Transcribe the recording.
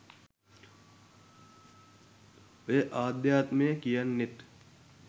ඔය අධ්‍යාත්මය කියන්නෙත්